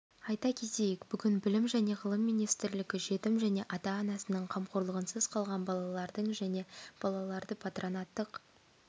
айта кетейік бүгін білім жне ғылым министрлігі жетім және ата-анасының қамқорлығынсыз қалған балалардың және балаларды патронаттық